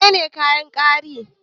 Menene kayan gwari?